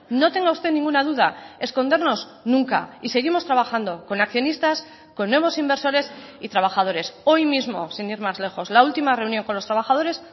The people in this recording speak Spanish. no tenga usted ninguna duda escondernos nunca y seguimos trabajando con accionistas con nuevos inversores y trabajadores hoy mismo sin ir más lejos la última reunión con los trabajadores